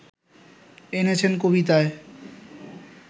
এনেছেন কবিতায়